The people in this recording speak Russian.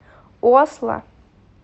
осло